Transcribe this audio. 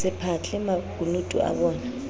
hose phahle makunutu abonaj k